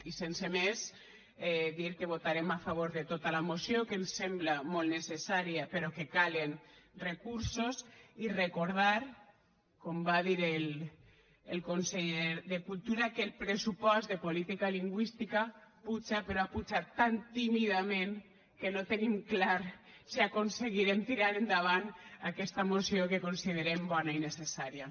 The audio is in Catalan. i sense més dir que votarem a favor de tota la moció que ens sembla molt necessària però que calen recursos i recordar com va dir el conseller de cultura que el pressupost de política lingüística puja però ha pujat tan tímidament que no tenim clar si aconseguirem tirar endavant aquesta moció que considerem bona i necessària